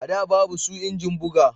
A da babu su injin buga